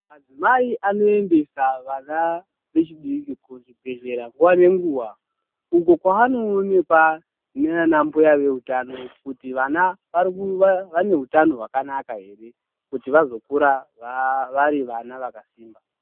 Madzimai anoendesa vana vechidiki kuzvibhedhlera nguwa ngenguwa uko kwanoonekwa naana mbuya veutano kuti vana vane hutano hwakanaka here kuti vazokura vari vana vakasimba.